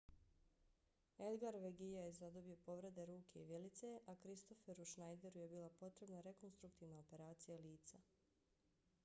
edgar veguilla je zadobio povrede ruke i vilice a kristofferu schneideru je bila potrebna rekonstruktivna operacija lica